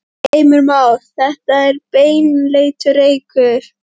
Heimir Már: Þetta er baneitraður reykur?